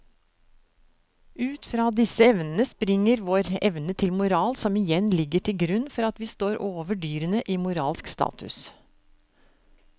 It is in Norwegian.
Ut fra disse evnene springer vår evne til moral som igjen ligger til grunn for at vi står over dyrene i moralsk status.